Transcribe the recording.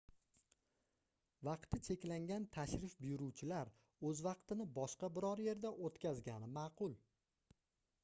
vaqti cheklangan tashrif buyuruvchilar oʻz vaqtini boshqa biror yerda oʻtkazgani maʼqul